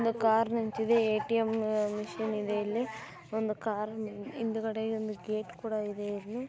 ಒಂದು ಕಾರ್ ನಿಂತಿದೆ ATM. Machine ಇದೆ .ಇಲ್ಲಿ ಒಂದು ಕಾರ್ ಹಿಂದಗಡೆ ಒಂದು ಗೇಟ್ ಕೂಡ ಇದೆ ಇಲ್ಲಿ--